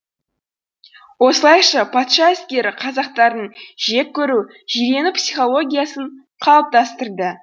осылайша патша әскері қазақтардың жек көру жирену психологиясын қалыптастырды